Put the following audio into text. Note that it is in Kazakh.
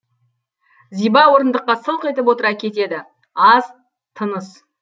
зиба орындыққа сылқ етіп отыра кетеді аз тыныс